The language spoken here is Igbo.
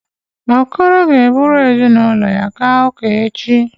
Okoro ga-eburu ezinụlọ ya gaa ụka echi.